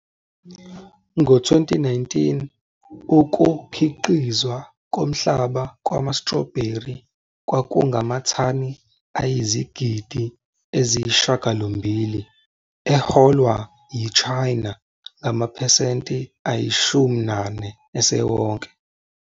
Ngo-2019, ukukhiqizwa komhlaba kwama-strawberry kwakungamathani ayizigidi eziyi-9, eholwa yiChina ngamaphesenti ayi-40 esewonke.